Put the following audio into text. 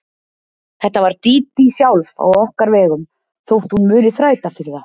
Þetta var Dídí sjálf á okkar vegum þótt hún muni þræta fyrir það.